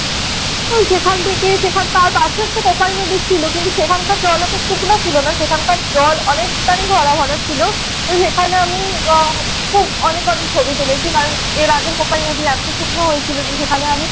ওই সেখান থেকে সেখান তার পাশেই একটা কোপাই নদী ছিল। কিন্তু সেখানকার জল এত শুকনা ছিল না। সেখানকার জল অনেকটাই ভরা ভরা ছিল। সেখানে আমি খুব অনেকভাবে ছবি তুলেছি। কারণ এর আগে কোপাই নদী এত শুকনো হয়েছিল যে সেখানে আমি